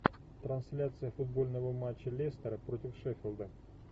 трансляция футбольного матча лестера против шеффилда